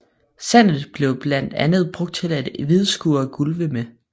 Sandet blev blandt andet brugt til at hvidskure gulve med